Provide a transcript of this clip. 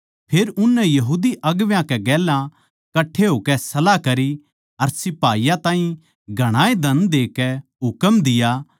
फेर उननै यहूदी अगुवां कै गेल्या कट्ठे होकै सलाह करी अर सिपाहियाँ ताहीं घणाए धन देकै हुकम दिया